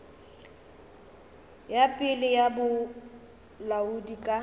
ya pele ya bolaodi ka